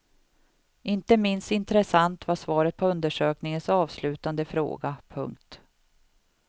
Inte minst intressant var svaret på undersökningens avslutande fråga. punkt